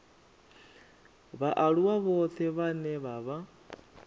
vhaaluwa vhoṱhe vhane vha vha